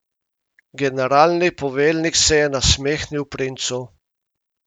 Generalni poveljnik se je nasmehnil princu.